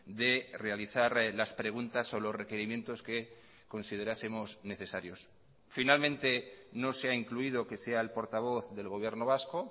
de realizar las preguntas o los requerimientos que considerásemos necesarios finalmente no se ha incluido que sea el portavoz del gobierno vasco